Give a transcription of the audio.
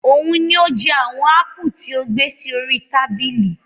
Òun ni ó jẹ àwọn ápù tí o gbé sí orí tábìlì.